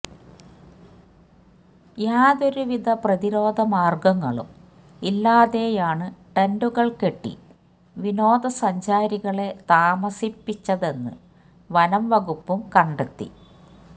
യാതൊരു വിധ പ്രതിരോധ മാര്ഗങ്ങളും ഇല്ലാതെയാണ് ടെന്റുകള് കെട്ടി വിനോദസഞ്ചാരികളെ താമസിപ്പിച്ചതെന്ന് വനം വകുപ്പും കണ്ടെത്തി